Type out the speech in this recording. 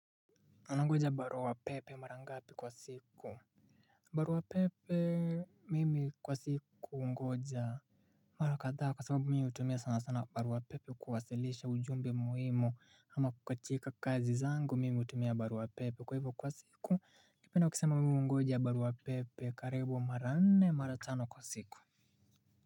Unangoja barua pepe mara ngapi kwa siku. Barua pepe mimi kwa siku hungoja mara kadhaa kwa sababu mi hutumia sana sana barua pepe kuwasilisha ujumbe muhimu ama katika kazi zangu mimi hutumia barua pepe kwa hivyo kwa siku napenda kusema mi hungoja barua pepe karibu mara nne mara tano kwa siku.